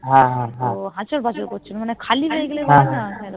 তো মানে আছর পাছর করছিলো খালি হয়েগেলে বলেনা